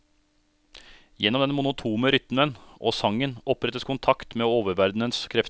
Gjennom den monotone rytmen og sangen opprettes kontakt med oververdenens krefter.